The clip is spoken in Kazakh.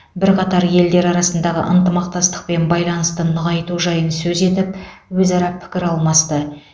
бірқатар елдер арасындағы ынтымақтастық пен байланысты нығайту жайын сөз етіп өзара пікір алмасты